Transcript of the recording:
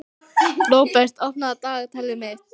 Róbert, opnaðu dagatalið mitt.